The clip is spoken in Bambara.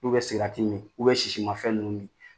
K'u bɛ sigarati min sisimafɛn ninnu min